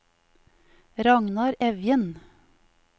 Ragnar Evjen